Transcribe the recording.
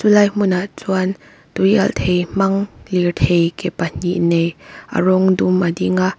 helai hmunah chuan tui alh thei hmang lirthei ke pahnih nei a rawng dum a ding a.